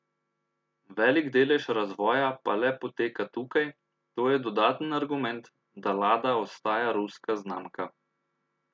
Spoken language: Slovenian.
Velik delež razvoja pa le poteka tukaj, to je dodaten argument, da Lada ostaja ruska znamka.